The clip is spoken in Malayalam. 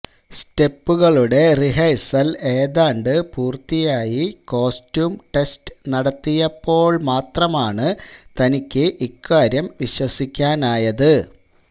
സ്റ്റെപ്പുകളുടെ റിഹേഴ്സല് ഏതാണ്ട് പൂര്ത്തിയായി കോസ്റ്റ്യൂം ടെസ്റ്റ് നടത്തിയപ്പോള് മാത്രമാണ് തനിക്ക് ഇക്കാര്യം വിശ്വസിക്കാനായത്